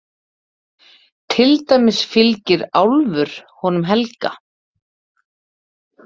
Til dæmis fylgir álfur honum Helga.